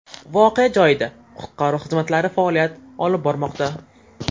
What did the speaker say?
Voqea joyida qutqaruv xizmatlari faoliyat olib bormoqda.